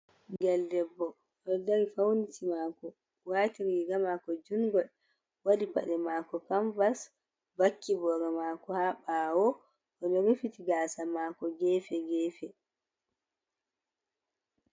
Bingel debbo o dari fauniti mako wati riga mako jungol wadi pade mako kamvas vaki boro mako ha bawo odo rufiti gasa mako gefe gefe.